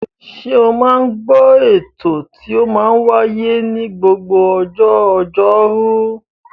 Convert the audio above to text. Ṣe o máa ń gbọ́ ètò tí ó máa ń wáyé ní gbogbo ọjọ́ Ọjọ́rú?